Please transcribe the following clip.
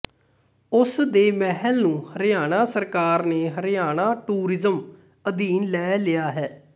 ਉਸ ਦੇ ਮਹਿਲ ਨੂੰ ਹਰਿਆਣਾ ਸਰਕਾਰ ਨੇ ਹਰਿਆਣਾ ਟੂਰਿਜ਼ਮ ਅਧੀਨ ਲੈ ਲਿਆ ਹੈ